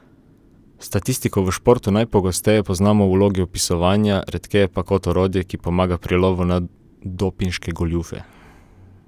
Statistiko v športu najpogosteje poznamo v vlogi opisovanja, redkeje pa kot orodje, ki pomaga pri lovu na dopinške goljufe.